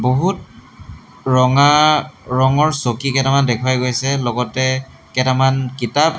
বহুত ৰঙা ৰঙৰ চকী কেটামান দেখুওৱা গৈছে লগতে কেটামান কিতাপ।